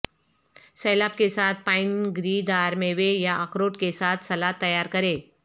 سیلاب کے ساتھ پائن گری دار میوے یا اخروٹ کے ساتھ سلاد تیار کریں